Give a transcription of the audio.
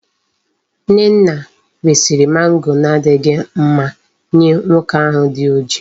Nnenna resiri mango na adighi mma Nye nwoke ahu di oji